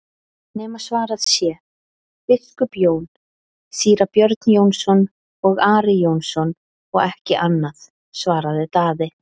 nema svarað sé:-Biskup Jón, Síra Björn Jónsson og Ari Jónsson og ekki annað, svaraði Daði.